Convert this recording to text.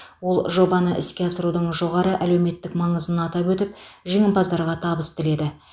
ол жобаны іске асырудың жоғары әлеуметтік маңызын атап өтіп жеңімпаздарға табыс тіледі